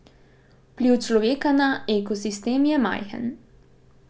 Vpliv človeka na ekosistem je majhen.